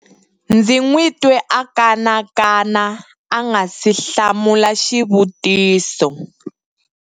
ndzi n'wi twe a kanakana a nga si hlamula xivutiso